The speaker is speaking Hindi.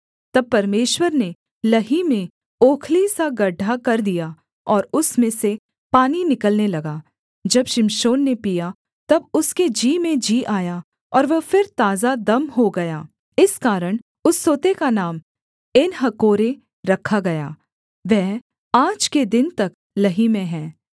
तब परमेश्वर ने लही में ओखली सा गड्ढा कर दिया और उसमें से पानी निकलने लगा जब शिमशोन ने पीया तब उसके जी में जी आया और वह फिर ताजा दम हो गया इस कारण उस सोते का नाम एनहक्कोरे रखा गया वह आज के दिन तक लही में है